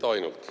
Mitte ainult.